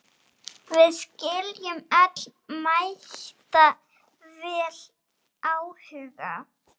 Við skiljum öll mætavel áhuga